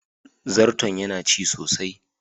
Zarton yana ci sosai.